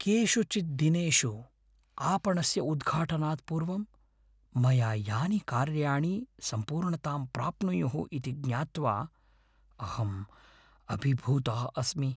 केषुचित् दिनेषु आपणस्य उद्घाटनात् पूर्वं मया यानि कार्याणि सम्पूर्णतां प्राप्नुयुः इति ज्ञात्वा अहं अभिभूतः अस्मि।